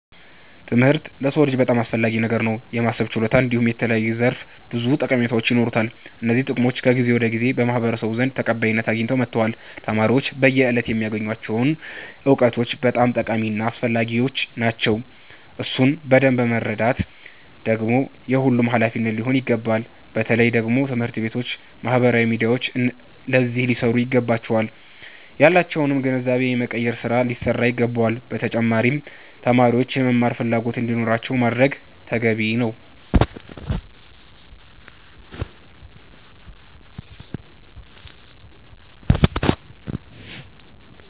ትምህርት ለሰዉ ልጅ በጣም አስፈላጊ ነገር ነዉ። የማሰብ ችሎታ እንዲሁም የተለያዩ ዘርፈ ብዙ ጠቀሜታዎች ይኖሩታል። እነዚህ ጥቅሞች ከጊዜ ወደ ጊዜ በማህበረሰቡ ዘንድ ተቀባይነት አያገኙ መተዋል። ተማሪዎች በየእለቱ የሚያገኙቸዉ እዉቀቶች በጣም ጠቃሚ እና አስፈላጊዎች ናቸዉ። እሱን በደምብ መረዳት ደግሞ የሁሉም ሃላፊነት ሊሆን ይገባል። በተለየ ደግሞ ትምህርት ቤቶች ባህበራዊ ሚዲያዎች አዚህ ሊሰሩ ይገባቸዋል። ያላቸዉንም ግንዛቤ የመቀየር ስራ ሊሰራ ይገባዋል። በተጫማሪም ተማሪዎች የመማር ፈላጎት እንዲኖራቸዉ ማድረግ ተገቢ ነዉ።